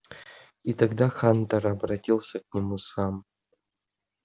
и тогда хантер обратился к нему сам